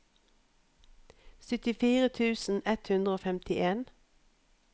syttifire tusen ett hundre og femtien